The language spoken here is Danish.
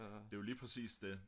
det er jo lige præcis det